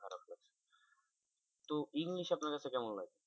তো english আপনার কাছে কেমন লাগে?